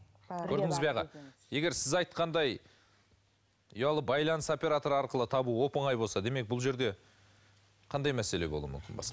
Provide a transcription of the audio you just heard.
көрдіңіз бе аға егер сіз айтқандай ұялы байланыс операторы арқылы табу оп оңай болса демек бұл жерде қандай мәселе болуы мүмкін